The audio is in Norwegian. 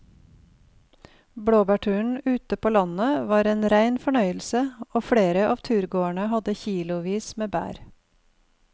Blåbærturen ute på landet var en rein fornøyelse og flere av turgåerene hadde kilosvis med bær.